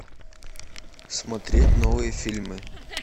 смотреть новые фильмы